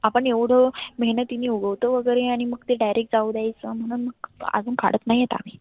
आपण एवढ मेहनतीने उगवतो वगैरे आणि मग ते direct जाऊ द्याच. म्हणून मग आजुन काढत नाही आम्ही